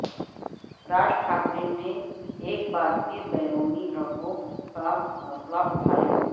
راج ٹھاکرے نے ایک بار پھر بیرونی لوگوں کا مسئلہ اٹھایا